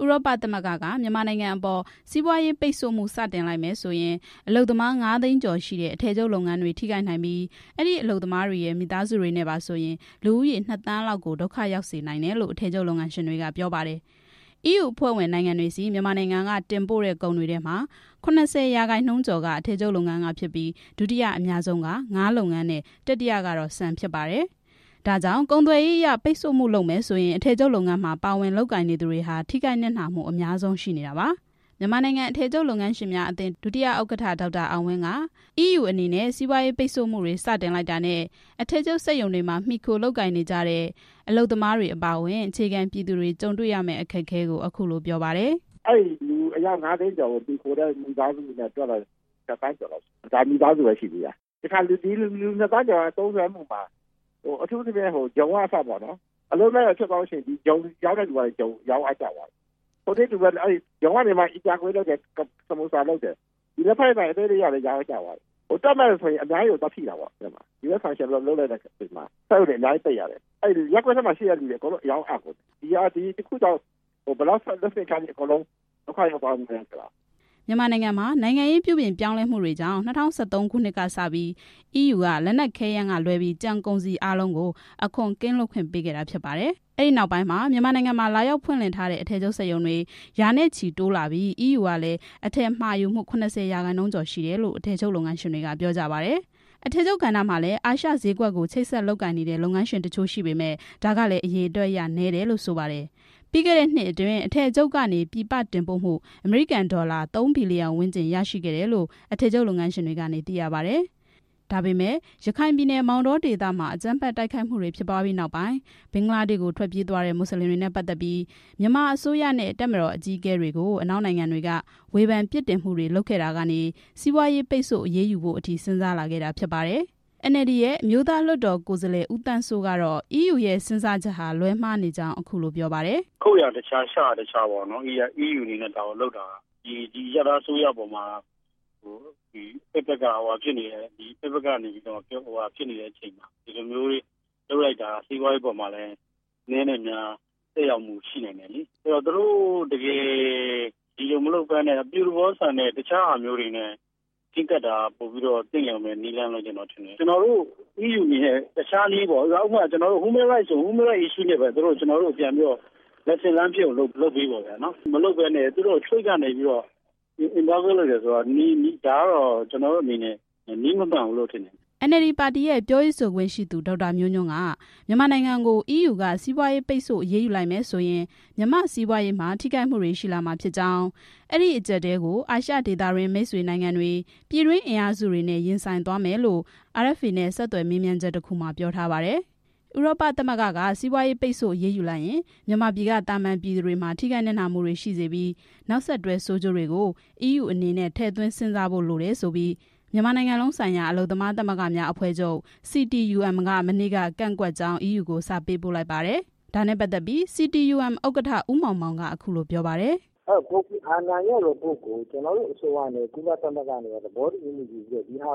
ဥရောပသမဂ္ဂက မြန်မာနိုင်ငံအပေါ် စီးပွားရေးပိတ်ဆို့မှု စတင်လိုက်မယ်ဆိုရင် အလုပ်သမား ၅သိန်းကျော်ရှိတဲ့ အထည်ချုပ်လုပ်ငန်းတွေ ထိခိုက်နိုင်ပြီး အဲဒီအလုပ်သမားတွေရဲ့ မိသားစုတွေနဲ့ပါဆိုရင် လူဦးရေ ၂ သန်းလောက်ကို ဒုက္ခရောက်စေနိုင်တယ်လို့ အထည်ချုပ်လုပ်ငန်းရှင်တွေက ပြောပါတယ်။ အီးယူအဖွဲ့ဝင်နိုင်ငံတွေဆီ မြန်မာနိုင်ငံက တင်ပို့တဲ့ ကုန်တွေထဲမှာ ၇၀ ရာခိုင်နှုန်းကျော်က အထည်ချုပ်လုပ်ငန်း ကဖြစ်ပြီး ဒုတိယအများဆုံးက ငါးလုပ်ငန်းနဲ့ တတိယကတော့ ဆန်ဖြစ်ပါတယ်။ ဒါကြောင့် ကုန်သွယ်ရေးအရ ပိတ်ဆို့မှုလုပ်မယ်ဆိုရင် အထည်ချုပ်လုပ်ငန်းမှာ ပါဝင်လုပ်ကိုင်နေသူတွေက ထိခိုက်နစ်နာမှုအရှိဆုံးဖြစ်နေတာပါ။ မြန်မာနိုင်ငံ အထည်ချုပ်လုပ်ငန်းရှင်များအသင်း ဒုတိယဥက္ကဋ္ဌ ဒေါက်တာ အောင်ဝင်းက အီးယူက စီးပွားရေးပိတ်ဆို့ မှုတွေ စတင်လိုက်တာနဲ့ အထည်ချုပ်စက်ရုံတွေမှာ မှီခိုလုပ်ကိုင်နေကြတဲ့ အလုပ်သမားတွေအပါအဝင် အခြေခံပြည် သူတွေ ကြုံတေ့ွရမယ့် အခက်အခဲကို အခုလို ပြောပါတယ်။ "အဲဒီလူအယောက် ငါးသိန်းကျော်နဲ့ မှီခိုတဲ့ မိသားစုနဲ့ တွက်မယ်ဆိုရင် ၂ သန်းကျော်တယ်။ ဒီလူနှစ်သန်းကျော် သုံးစွဲမှုမှာ အထူးသဖြင့် ဂျုံက အစပေါ့နော် အလုပ်လက်မဲ့ဖြစ်သွားမယ်ဆိုရင် ဒီဂျုံရောင်းတဲ့လူကလည်း ရောင်းအားကျသွားမယ်၊ ဂျုံနဲ့လုပ်တဲ့ အီကြာကွေး၊ စမူဆာလုပ်တယ်၊ လက်ဖက်ရည်ဆိုင်အသေးလေးကအစ ရောင်းအားကျမယ်၊ တွက်မယ်ဆိုရင် အများကြီးကို သွားထိတာပေါ့။ US ဆန်ရှင် လုပ်လိုက်တဲ့အချိန်မှာ စက်ရုံတွေ အများကြီးပိတ်ရတယ်၊ ရပ်ကွက်ထဲမှာရှိတဲ့လူတွေ အကုန်လုံး အရောင်း အ ကုန်တယ်၊ ဒီတစ်ခုကြောင့် ဘယ်လောက် အကုန်ဒုက္ခရောက်ကုန်လဲဆိုတာ" မြန်မာနိုင်ငံမှာ နိုင်ငံရေးပြုပြင်ပြောင်းလဲမှုတွေကြောင့် ၂၀၁၃ ခုနှစ်ကစပြီး အီးယူက လက်နက်ခဲယမ်းကလွဲပြီး ကျန်ကုန်စည်အားလုံးကို အခွန်ကင်းလွတ်ခွင့် ပေးခဲ့တာဖြစ်ပါတယ်။ အဲဒီနောက်ပိုင်းမှာ မြန်မာနိုင်ငံမှာ လာရောက်ဖွင့်လှစ်ထားတဲ့ အထည်ချုပ်စက်ရုံတွေ ရာနဲ့ချီ တိုးလာပြီး အီးယူကလည်း အထည်မှာယူမှု ၇၀ % ကျော်ရှိတယ်လို့ အထည်ချုပ်လုပ်ငန်းရှင်တွေက ပြောကြပါတယ်။ အထည်ချုပ်ကဏ္ဍမှာလည်း အာရှဈေးကွက်ကို ချိတ်ဆက်လုပ်ကိုင်နေတဲ့ လုပ်ငန်းရှင်တချို့ရှိပေမယ့် ဒါကလည်း အရေအတွက်အရ နည်းတယ်လို့ ဆိုပါတယ်။ ပြီးခဲ့တဲ့နှစ်အတွင်း အထည်ချုပ်ကနေ ပြည်ပတင်ပို့မှု အမေရိကန်ဒေါ်လာ ၃ ဘီလီယံဝန်းကျင် ရရှိခဲ့တယ်လို့ အထည်ချုပ်လုပ်ငန်းရှင်တွေကနေ သိရပါတယ်။ ဒါပေမဲ့ ရခိုင်ပြည်နယ် မောင်တောဒေသ အကြမ်းဖက်တိုက်ခိုက်ခံရပြီးနောက် ဘင်္ဂလားဒေ့ရှ်ကို ထွက်ပြေးသွားတဲ့ မွတ်စလင်တွေနဲ့ပတ်သက်ြပြီး မြန်မာအစိုးရနဲ့ တပ်မတော်အကြီးအကဲတွေကို အနောက်နိုင်ငံတွေက ဝေဖန်ပြစ်တင် မှုတွေ လုပ်ခဲ့တာကနေ စီးပွားရေးပိတ်ဆို့ အရေးယူဖို့အထိ စဉ်းစားလာခဲ့တာဖြစ်ပါတယ်။ NLD ရဲ့ အမျိုးသားလွှတ်တော် ကိုယ်စားလှယ် ဦးသန်းစိုး ကတော့ အီးယူရဲ့စဉ်းစားချက်ဟာ လွဲမှားနေကြောင်း ပြောပါတယ်။ "ခုတ်ရာတခြား၊ ရှရာတခြားပေါ့နော်၊ အီးယူအနေနဲ့ ဒါကိုလုပ်တာဟာ။ ဒီအရပ်သားအစိုးရအပေါ်မှာ အဖက်ဖက် က ပြစ်တင်နေတဲ့အချိန်မှာ ဒီလိုလုပ်တာဟာ စီးပွားရေးအပေါ်မှာ အနည်းနဲ့အများ သက်ရောက်မှုရှိမယ်လေ။ သူတို့ဒီလိုမလုပ်ဘဲ အပြုသဘောဆောင်တဲ့ တခြားနည်းနဲ့ချဉ်းကပ်တာက သင့်တော်မယ်လို့ ကျနော် ထင်တယ်။ အီးယူအနေနဲ့ တခြားနည်းပေါ့ ဥပမာ - လူ့အခွင့်အရေးဆိုရင် ကျနော်တို့ကို လူ့အခွင့်အရေးနည်းနဲ့ သင်ခန်းစာပေးပေါ့။ အဲလိုမလုပ်ဘဲ ထိပ်ကနေ ဒီလိုလုပ်တယ်ဆိုတာ နည်းမမှန်ဘူးလို့ ကျနော်က ထင်တယ်" NLD ပြောရေးဆိုခွင့်ရှိသူ ဒေါက်တာ မျိုးညွန့်က မြန်မာနိုင်ငံကို အီးယူက စီးပွားရေးပိတ်ဆို့ အရေးယူလိုက်မယ်ဆိုရင် မြန်မာ့စီးပွားရေးမှာ ထိခိုက်မှုရှိလာမှာဖြစ်ကြောင်း၊ အဲဒီအကြပ်အတည်းကို အာရှဒေသတွင်းမိတ်ဆွေနိုင်ငံတွေ ပြည်တွင်းအင်အားစုတွေနဲ့ ရင်ဆိုင်သွားမယ်လို့ RFA နဲ့ ဆက်သွယ်မေးမြန်းချက်တစ်ခုမှာ ပြောထားပါတယ်။ ဥရောပသမဂ္ဂက စီးပွားရေးပိတ်ဆု့ိ အရေးယူလိုက်ရင် မြန်မာပြည်က သာမန်ပြည်သူတွေမှာ ထိခိုက်နစ်နာ မှုတွေရှိမှာဖြစ်ပြီး နောက်ဆက်တွဲဆိုးကျိုးတွေကို အီးယူအနေနဲ့ ထည့်သွင်းစဉ်းစားဖို့ လိုတယ်ဆိုပြီး မြန်မာနိုင်ငံလုံးဆိုင်ရာ အလုပ်သမားသမဂ္ဂများအဖွဲ့ချုပ် (CTUM)က မနေ့က ကန့်ကွက်ကြောင်း အီးယူကို စာပေးပို့လိုက်ပါတယ်။ ဒါနဲ့ပတ်သက်ပြီး CTUM ဥက္ကဋ္ဌ ဦးမောင်မောင်က အခုလို ပြောပါတယ်။ "ကိုဖီအာနန်ရဲ့ရီပို့ကို ကျနော်တို့ အစိုးရနဲ့ ကုလသမဂ္ဂက သဘောတူညီချက်ယူပြီး ပုံ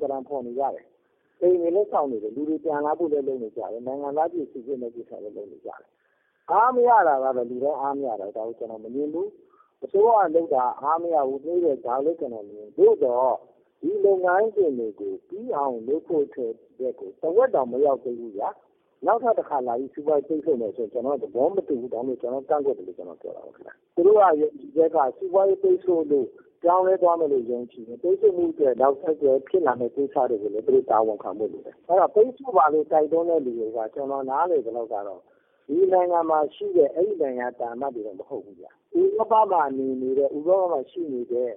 သဏ္ဍာန်ဖော်နေကြတယ်။ အိမ်တွေလည်း ဆောက်နေတယ်။ လူတွေပြန်လာမယ့်ကိစ္စလည်း လုပ်နေတယ်။ နိုင်ငံသားစိစစ်တဲ့ကိစ္စလည်း လုပ်နေတယ်။ အားမရတာကတော့ လူတိုင်းအားမရတာ ဒါကို ကျနော် မငြင်းဘူး။ အစိုးရကလုပ်တာ အားမရဘူး နှေးတယ်။ သို့သော် ဒီလုပ်ငန်းစဉ်တွေကို ပြီးအောင်လုပ်ဖို့ထက် တဝက်တောင် မရောက်သေးဘူးဗျာ။ ဒါကို နောက်ထပ်တစ်ခါလာပြီး စီးပွားရေးပိတ်ဆို့မယ်ဆိုတာကို ကျနော်က သဘောမတူဘူး။ ဒါကြောင့်မို့ ကန့်ကွက် တယ်။ သူတို့က ယုံကြည်ချက်က စီးပွားရေးပိတ်ဆို့လို့ ပြောင်းလဲသွားမယ်လို့ ယုံကြည်ရင် ပိတ်ဆို့မှုအတွက် နောက်ဆက်တွဲဖြစ်လာမယ့် ကိစ္စတွေကို သူတို့တာဝန်ခံဖို့ လိုတယ်။ ပိတ်ဆို့ပါလို့ တိုက်တွန်းတဲ့လူတွေက ကျနော် နားလည်သလောက်က ဥရောပမှာရှိနေတဲ့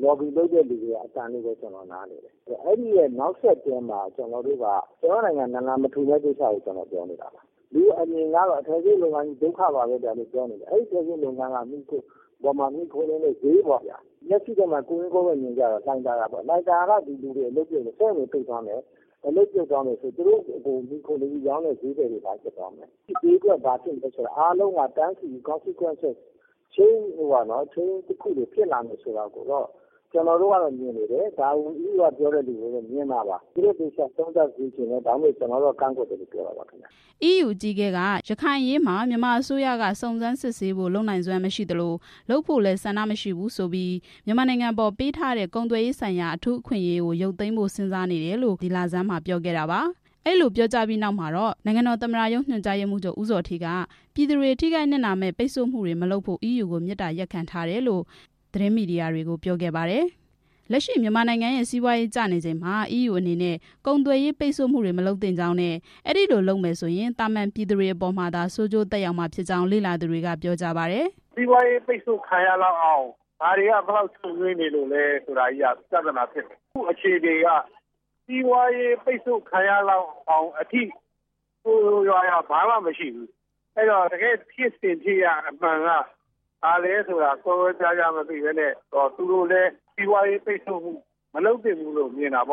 လော်ဘီလုပ်တဲ့ လူတွေရဲ့အသံလို့ နားလည်တယ်။ အဲဒီနောက်ဆက်တွဲမှာ ကျနော်တို့နိုင်ငံ နာလန်မထူမယ့်ကိစ္စကို ကျနော် ပြောတာ။ လူတွေအမြင်မှာ အထည်ချုပ် လုပ်ငန်းကြီး ဒုက္ခပါပဲကွာလို့ ပြောနေတာ။ အဲဒီအထည်ချုပ်လုပ်ငန်းကို မှီခိုနေတဲ့လူတွေ။ ကွက်ကွက်ကွင်း ကွင်းမြင်အောင် လှိုင်သာယာပေါ့ဗျာ။ လှိုင်သာယာက စက်ရုံတွေပိတ်သွားမယ်ဆိုရင် အဲဒီမှာလုပ်နေတဲ့ အလုပ်သမားတွေ သူတို့ကို မှီခိုပြီးရောင်းနေတဲ့ ဈေးသည်တွေ ဘာဖြစ်သွားမလဲ၊ ဒီဈေးကွက် ဘာဖြစ်မလဲဆိုတာ အကျိုးဆက်ကို ကျနော်တို့ကတော့ မြင်နေတယ်။ ဒါကို အီးယူက ပြောနေတဲ့လူတွေ မြင်လား၊ သူတို့ သေချာသုံး သပ်စေချင်တယ်။ ဒါကြောင့် ကျနော်က ကန့်ကွက်တာပါ" အီးယူအကြီးအကဲဟာ ရခိုင်အရေးမှာ မြန်မာအစိုးရက စုံစမ်းစစ်ဆေးဖို့ လုပ်နိုင်စွမ်း မရှိသလို လုပ်ဖို့လည်း ဆန္ဒမရှိဘူးဆိုပြီး မြန်မာနိုင်ငံအပေါ် ပေးထားတဲ့ ကုန်သွယ်ရေးဆိုင်ရာ အထူးအခွင့်အရေးကို ရုပ်သိမ်းဖို့ စဉ်းစားနေတယ်လို့ ဒီလဆန်းက ပြောခဲ့တာပါ။ အဲဒီလို ပြောကြားပြီးနောက်မှာတော့ နိုင်ငံတော်သမ္မတရုံး ညွှန်ကြားရေးမှူးချုပ် ဦးဇော်ဌေးက ပြည်သူတွေ ထိခိုက်နစ်နာမယ့် ပိတ်ဆို့မှုတွေ မလုပ်ဖို့ အီးယူကို မေတ္တာရပ်ခံထားတယ်လို့ သတင်းမီဒီယာတွေကို ပြောခဲ့ပါတယ်။ လက်ရှိ မြန်မာနိုင်ငံရဲ့ စီးပွားရေးကျနေချိန်မှာ အီးယူအနေနဲ့ ကုန်သွယ်ရေး ပိတ်ဆို့မှုတွေ မလုပ်သင့်ကြောင်းနဲ့ အဲဒီလိုလုပ်မယ်ဆိုရင် သာမန်ပြည်သူတွေအပေါ်မှာသာ ဆိုးကျိုးသက်ရောက်မှာဖြစ်ကြောင်း လေ့လာသူတွေက ပြောကြပါတယ်။ "စီးပွားရေးပိတ်ဆို့ခံရလောက်အောင် ဘာတွေက ဘယ်လောက်ရှုပ်ထွေးနေလို့လဲဆိုတာက ပြဿနာဖြစ်နေ တယ်။ အခုအခြေအနေက စီးပွားရေးပိတ်ဆို့ခံရလောက်အောင်အထိ ဆိုးဆိုးရွားရွား ဘာမှမရှိဘူး။ အဲဒီတော့ တကယ့်ဖြစ်စဉ်ဖြစ်ရပ်အမှန်က ဘာလဲဆိုတာ ကွဲကွဲပြားပြား မသိဘဲ သူတို့အနေနဲ့ စီးပွားရေးပိတ်ဆို့မှု မလုပ်သင့်ဘူးလို့မြင်တယ်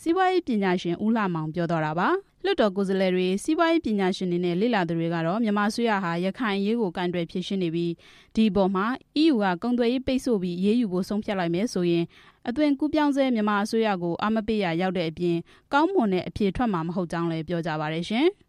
" စီးပွားရေးပညာရှင် ဦးလှမောင် ပြောသွားတာပါ။ လွှတ်တော်ကိုယ်စားလှယ်တွေ၊ စီးပွားရေးပညာရှင်တွေနဲ့ လေ့လာသူတွေက မြန်မာအစိုးရဟာ ရခိုင်အရေးကို ကိုင်တွယ်ဖြေရှင်းနေပြီး ဒီအပေါ်မှာ အီးယူက ကုန်သွယ်ရေးပိတ်ဆို့ပြီး အရေးယူဖို့ ဆုံးဖြတ်လိုက်မယ်ဆိုရင် အသွင်ကူးပြောင်းဆဲ မြန်မာအစိုးရကို အားမပေးရာရောက်တဲ့အပြင် ကောင်းမွန်တဲ့ အဖြေထွက်မှာ မဟုတ်ကြောင်း လည်း ပြောကြပါတယ်ရှင်။